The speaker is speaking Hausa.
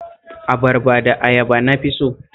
Abarba da ayaba na fi so